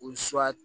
O suwa